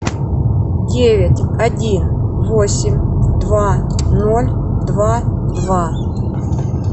девять один восемь два ноль два два